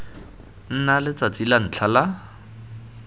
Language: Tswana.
nna letsatsi la ntlha la